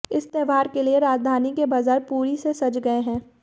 इस त्योहार के लिए राजधानी के बाजार पूरी से सज गए हैं